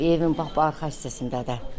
Evin bax bu arxa hissəsindədir.